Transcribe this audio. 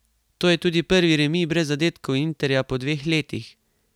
To je tudi prvi remi brez zadetkov Interja po dveh letih!